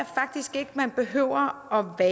man behøver at